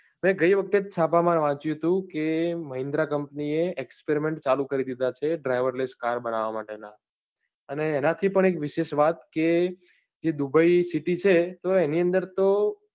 મેં ગઈ વખતે જ છાપા માં વાંચ્યું હતું કે mahindra company એ experiment ચાલુ કરી દીધા છે driver less car બનાવા માટેના અને એના થી પણ એક વિશેષ વાત કે જેદુબઈ city છે તો એની અંદર તો